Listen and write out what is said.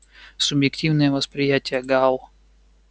субъективное восприятие гаал